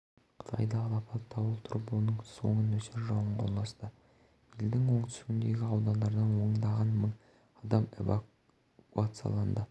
қытайда алапат дауыл тұрып оның соңы нөсер жауынға ұласты елдің оңтүстігіндегі аудандардан ондаған мың адам эвакуацияланды